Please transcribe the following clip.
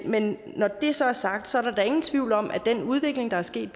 men når det så er sagt er der da ingen tvivl om at den udvikling der er sket